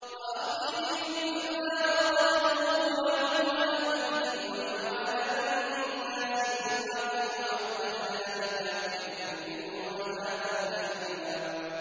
وَأَخْذِهِمُ الرِّبَا وَقَدْ نُهُوا عَنْهُ وَأَكْلِهِمْ أَمْوَالَ النَّاسِ بِالْبَاطِلِ ۚ وَأَعْتَدْنَا لِلْكَافِرِينَ مِنْهُمْ عَذَابًا أَلِيمًا